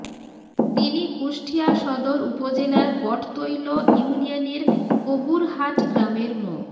তিনি কুষ্টিয়া সদর উপজেলার বটতৈল ইউনিয়নের কবুরহাট গ্রামের মো